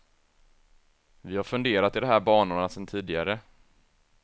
Vi har funderat i de här banorna sen tidigare.